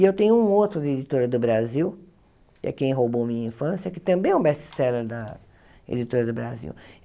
E eu tenho um outro da Editora do Brasil, que é Quem Roubou Minha Infância, que também é um best-seller da Editora do Brasil.